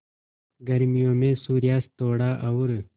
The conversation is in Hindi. गर्मियों में सूर्यास्त थोड़ा और